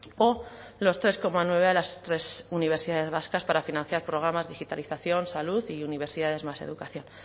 o los tres coma nueve de las tres universidades vascas para financiar programas digitalización salud y universidades más educación